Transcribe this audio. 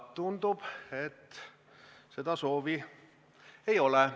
Tundub, et seda soovi ei ole.